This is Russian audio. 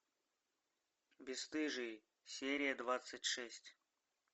бесстыжие серия двадцать шесть